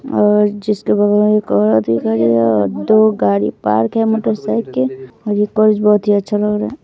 और जिसके बगल एक और आदमी खड़ी है और दो गाड़ी पार्क है मोटर साइकिल और ये पर्स बहुत ही अच्छा लग रहा है।